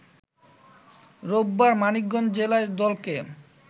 রোববার মানিকগঞ্জ জেলা দলকে